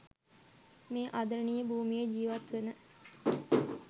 මේ ආදරණීය භූමියේ ජීවත්වන